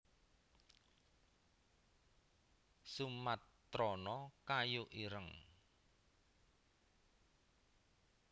sumatrana kayu ireng